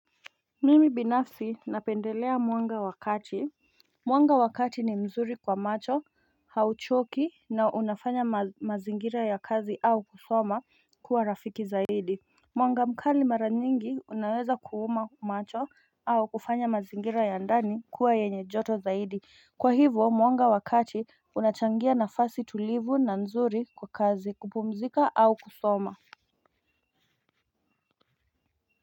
Mimi binafsi napendelea mwanga wakati Mwanga wakati ni mzuri kwa macho hauchoki na unafanya mazingira ya kazi au kusoma kuwa rafiki zaidi Mwanga mkali mara nyingi unaweza kuuma macho au kufanya mazingira ya ndani kuwa yenye joto zaidi. Kwa hivyo mwanga wakati unachangia nafasi tulivu na nzuri kwa kazi kupumzika au kusoma.